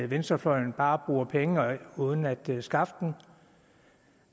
venstrefløjen bare bruger penge uden at kunne skaffe dem og